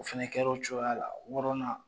O fana kɛra o cogoya la wɔɔrɔnna